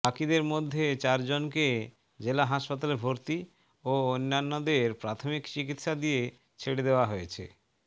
বাকিদের মধ্যে চারজনকে জেলা হাসপাতালে ভর্তি ও অন্যান্যদের প্রাথমিক চিকিৎসা দিয়ে ছেড়ে দেওয়া হয়েছে